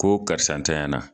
Ko karisa ntanyana